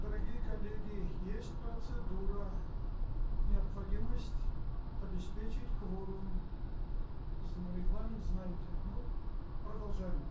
дорогие коллеги есть процедура необходимость обеспечить кворум на регламент знаете ну продолжаем